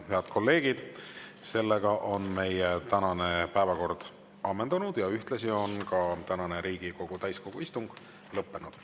Head kolleegid, meie tänane päevakord on ammendunud ja ühtlasi on ka tänane Riigikogu täiskogu istung lõppenud.